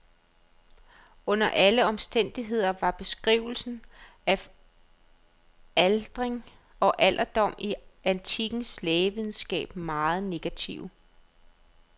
Under alle omstændigheder var beskrivelserne af aldring og alderdom i antikkens lægevidenskab meget negative.